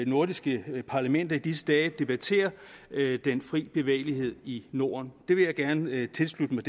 nordiske parlamenter i disse dage debatterer den frie bevægelighed i norden det synspunkt vil jeg gerne tilslutte mig